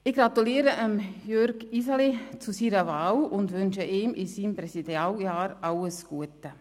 Ich gratuliere Jürg Iseli zu seiner Wahl und wünsche ihm in seinem Präsidialjahr alles Gute.